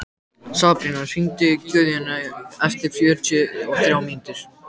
Sabrína, hringdu í Guðjóníu eftir fjörutíu og þrjár mínútur.